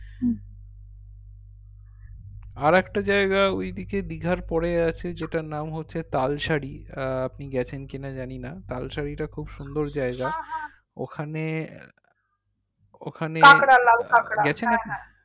আরেকটা জায়গায় ঐদিকে দীঘার পরে আছে জেতার নাম হচ্ছে তালশাড়ি আহ আপনি গেছেন কি না জানি না তালশাড়ি তা খুব সুন্দর জায়গা ওখানে আঃ গেছেন আপনি